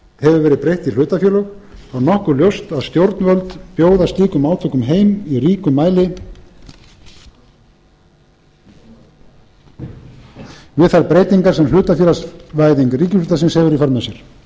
hefur verið breytt í hlutafélög og nokkuð ljóst að stjórnvöld bjóða slíkum átökum heim í ríkum mæli við þær breytingar sem hlutafélagsvæðing ríkisútvarpsins hefur í för með sér gunnar